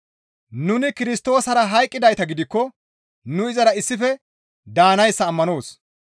Nuni Kirstoosara hayqqidayta gidikko nu izara issife daanayssa ammanoos.